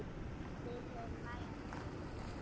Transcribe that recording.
Við höfum nægan tíma.